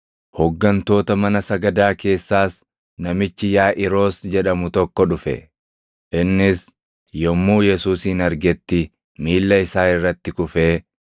Hooggantoota mana sagadaa keessaas namichi Yaaʼiiros jedhamu tokko dhufe; innis yommuu Yesuusin argetti, miilla isaa irratti kufee,